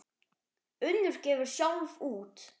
Unnur gefur sjálf út.